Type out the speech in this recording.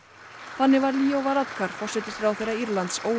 þannig var Leo Varadkar forsætisráðherra Írlands